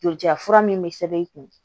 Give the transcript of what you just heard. Joli ja fura min bɛ sɛbɛn i kun